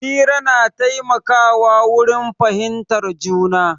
Hira na taimaka wa wurin fahimtar juna.